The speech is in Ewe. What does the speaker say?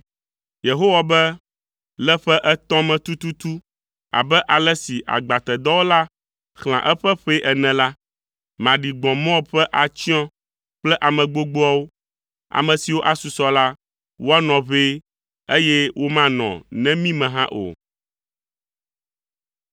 Yehowa be, “Le ƒe etɔ̃ me tututu abe ale si agbatedɔwɔla xlẽa eƒe ƒee ene la, maɖi gbɔ̃ Moab ƒe atsyɔ̃ kple ame gbogboawo, ame siwo asusɔ la, woanɔ ʋɛe, eye womanɔ nemi me hã o.”